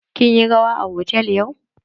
Kin yi rawa a hotal yau?